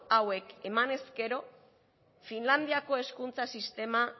hauek emanez gero finlandiako hezkuntza sistema